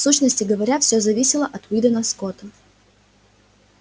в сущности говоря всё зависело от уидона скотта